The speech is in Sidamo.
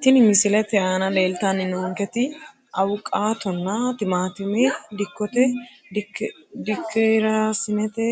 Tini misilete aana lelitani noonketi awuqaatona timaatime dikkote dikirasinete